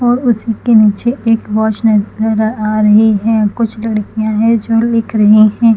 और उसके के नीचे एक वाच नज़र आ रही है कुछ लड़कीया है जो लिख रही है।